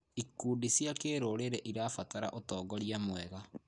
Ikundi cia kĩrũrĩrĩ cirabatara ũtongoria mwega.